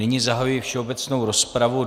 Nyní zahajuji všeobecnou rozpravu.